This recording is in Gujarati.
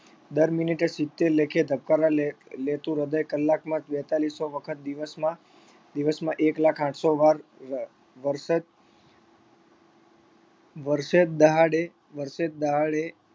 દર minute એ સિત્તેર લેખે ધબકારા લે લેતું હૃદય કલાકમાં બેત્તાલીસો વખત દિવસમાં દિવસમાં એક લાખ આઠસો વાર વ વર્ષે વર્ષે દહાડે વર્ષે દહાડે